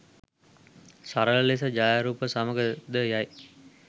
සරල ලෙස ඡායාරූප සමඟ ද යයි.